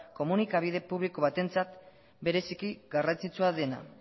komunikabide publiko batentzat bereziki garrantzitsua dena